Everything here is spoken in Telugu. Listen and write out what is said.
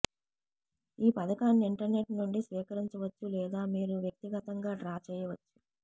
ఈ పథకాన్ని ఇంటర్నెట్ నుండి స్వీకరించవచ్చు లేదా మీరు వ్యక్తిగతంగా డ్రా చేయవచ్చు